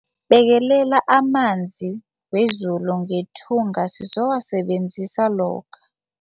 Bekelela amanzi wezulu ngethunga sizowasebenzisa lokha.